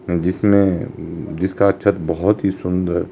जिसमें जिसका छत बहुत ही सुंदर--